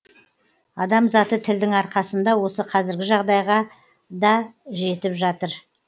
адам заты тілдің арқасында осы қазіргі жағдайғада жетіп отыр